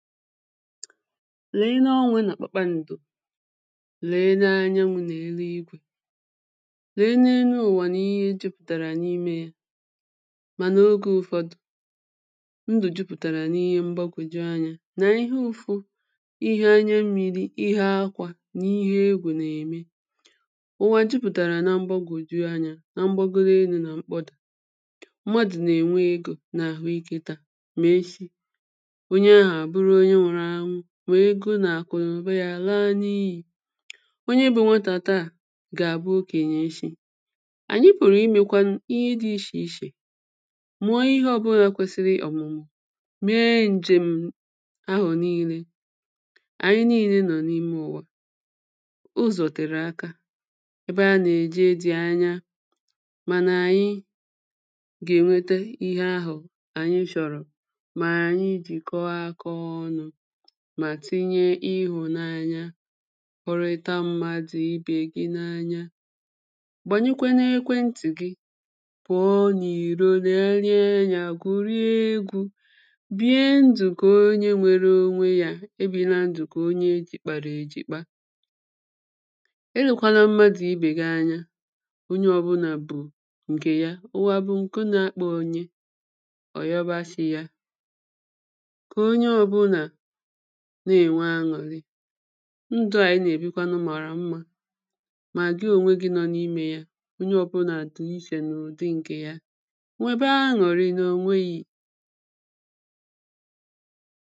leene onwe nà kpàkpandụ̀ leene anyanwụ̇ nà eluigwė leene enuụ̀wà nà ihe jupụ̀tàrà n’imė ya mànà ogė ụfọdụ̀ ndụ̀ jupụ̀tàrà n’ihe mgbagwòju anyȧ nà ihe ụfụ ihe anya mmiri̇ ihe akwȧ nà ihe egwù nà-ème ụwà jupụ̀tàrà na mgbagwòju anyȧ na mgbagoro elu̇ nà mkpọdà mmadụ̀ nà ènwe egȯ nà àhụ ike taà mà echi mà egȯ nà àkụ̀nà òba yȧ à laa n’iyì onye bụ̇ nwatà taà gà àbụ okènyè eshi ànyị pụ̀rụ̀ imėkwa ihe dị̇ ichè ichè mụ̀ọ̀ ihe ọ bụlà kwesịrị ọ̀mụ̀mụ̀ mee ǹjèm̀ ahụ̀ niilė ànyị niilė nọ̀ n’ime ụ̀wa ụzọ̀ tèrè aka ebe a nà-èje dị̀ anya mànà ànyị gà ènwete ihe ahụ̀ ànyị shọ̀rọ̀ mà tinye ịhụ̀nanya kọrịta mmadụ̀ ibè gị n’anya gbànyekwe n’ekwentị̀ gị pụ̀ọ n’ìro lèlee anya gwùrịe egwu̇ bìe ndụ̀ kà onye nwere onwe ya ebìre ndụ̀ kà onye ejìkpàrà èjìkpa elėkwala mmadụ̀ ibè gị anya onye ọbụlà bù ǹkè ya ụwa bụ̀ ǹke na-akpọ̇ onye ọ̀yọba shị̇ ya na-ènwe aṅụ̀rị ndụ à anyị nà-èbikwanụ màrà mmȧ mà gị ònwe gị nọ n’imė ya onye ọbụlà àtụghị ishè n’ụ̀dị ǹkè ya nwèbe aṅụ̀rị nà ònweghi